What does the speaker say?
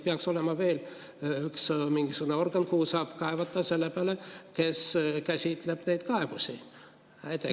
Peaks olema veel mingisugune organ, kuhu saab kaevata selle peale, kes käsitleb neid kaebusi.